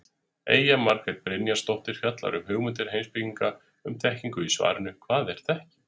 Eyja Margrét Brynjarsdóttir fjallar um hugmyndir heimspekinga um þekkingu í svarinu Hvað er þekking?